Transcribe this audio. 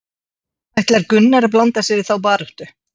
Ætlar Gunnar að blanda sér í þá baráttu?